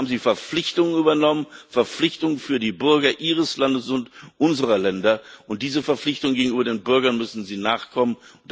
Hier haben Sie Verpflichtungen übernommen, Verpflichtungen für die Bürger Ihres Landes und unserer Länder, und diesen Verpflichtungen gegenüber den Bürgern müssen Sie nachkommen.